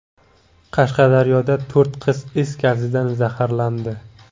Qashqadaryoda to‘rt qiz is gazidan zaharlandi.